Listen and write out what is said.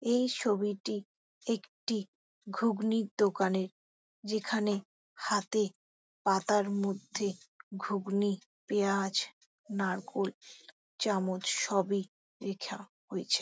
এই ছবিটি একটি গুগনীর দোকানের | যেখানে হাতে পাতার মধ্যে ঘুগনী পেঁয়াজ নারকোল চামচ সবই রাখা রয়েছে।